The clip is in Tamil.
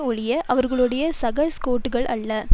ஒழிய அவர்களுடைய சக ஸ்கொட்டுக்கள் அல்ல